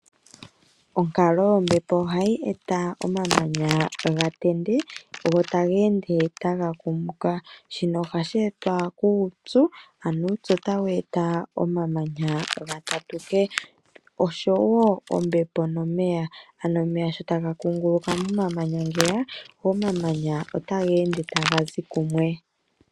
Onkalo yombepo ohayi eta omamanya ga tende, go taga ende taga kumuka. Shino ohashi etwa kuupyu, ano uupyu otawu eta omamanya ga tatuke, oshowo ombepo nomeya, ano omeya sho taga kunguluka momamanya ngeye, omamanya otaga ende taga zi kumwe.